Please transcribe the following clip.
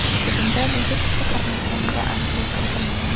Hujumda necha kishi qatnashganiga aniqlik kiritilmagan.